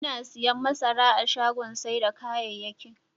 Muna siyan masara a shagon sai da kayayyakin.